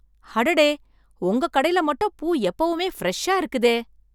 அடடே, உங்க கடையில மட்டும் பூ எப்பவுமே ப்ரஷ்ஷா இருக்குதே